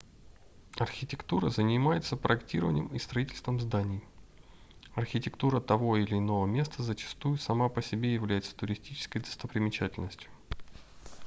архитектура занимается проектированием и строительством зданий архитектура того или иного места зачастую сама по себе является туристической достопримечательностью